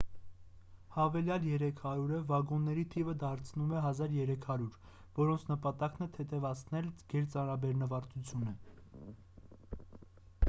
հավելյալ 300-ը վագոնների թիվը դարձնում է 1,300 որոնց նպատակն է թեթևացնել գերծանրաբեռնվածությունը